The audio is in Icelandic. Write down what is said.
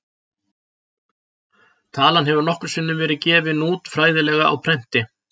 Talan hefur nokkrum sinnum verið gefin út fræðilega á prenti.